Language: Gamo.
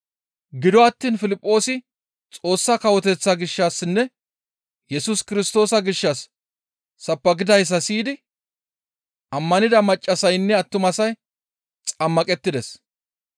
Gido attiin Piliphoosi Xoossa Kawoteththa gishshassinne Yesus Kirstoosa gishshas sabbakidayssa siyidi ammanida maccassaynne attumasay xammaqettides.